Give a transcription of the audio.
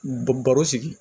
Baro sigi